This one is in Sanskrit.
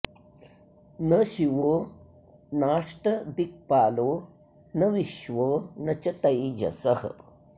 न शिवो नाष्टदिक्पालो न विश्वो न च तैजसः